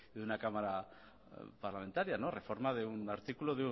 de una cámara parlamentaria reforma del artículo